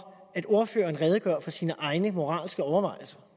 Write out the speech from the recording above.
at ordføreren redegør for sine egne moralske overvejelser